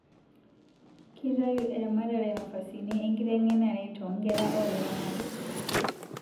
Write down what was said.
Kitayu eramatare nafasini enkitengenare too nkera olaramatak